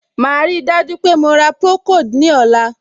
Màá ríi dájú pé mo ra procold ní ọ̀la.